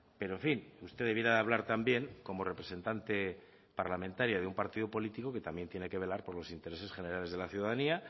pero en fin usted debiera de hablar también como representante parlamentaria de un partido político que también tienen que velar por los intereses generales de la ciudadanía